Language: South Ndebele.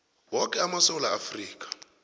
woke amasewula afrika